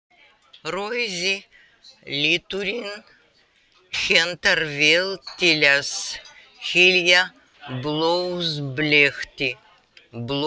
Rauði liturinn hentar vel til að hylja blóðbletti.